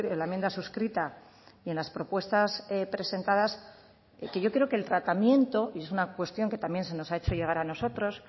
la enmienda suscrita y en las propuestas presentadas que yo creo que el tratamiento y es una cuestión que también se nos ha hecho llegar a nosotros